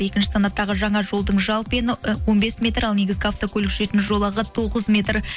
екінші санаттағы жаңа жолдың жалпы ені он бес метр ал негізгі автокөлік жүретін жолағы тоғыз метр